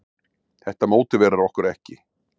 Þetta mótiverar okkur ekki.